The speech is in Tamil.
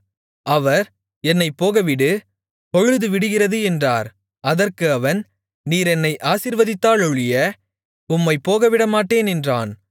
அவர் என்னைப் போகவிடு பொழுது விடிகிறது என்றார் அதற்கு அவன் நீர் என்னை ஆசீர்வதித்தாலொழிய உம்மைப் போகவிடமாட்டேன் என்றான்